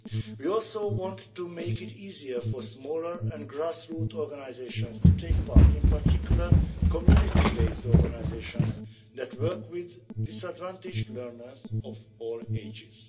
We also want to make it easier for smaller and grassroots organisations to take part, in particular community based organisations that work with disadvantaged learners of all